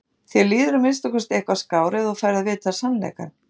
Þér líður að minnsta kosti eitthvað skár ef þú færð að vita sannleikann.